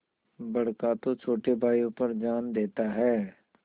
बड़का तो छोटे भाइयों पर जान देता हैं